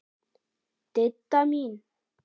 Didda mín.